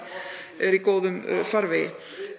er í góðum farveg